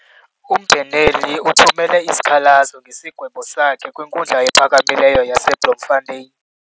Umbheneli uthumele isikhalazo ngesigwebo sakhe kwinkundla ephakamileyo yaseBloemfotein.